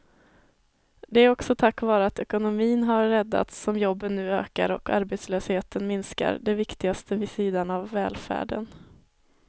Det är också tack vare att ekonomin har räddats som jobben nu ökar och arbetslösheten minskar, det viktigaste vid sidan av välfärden.